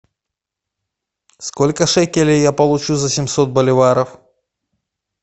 сколько шекелей я получу за семьсот боливаров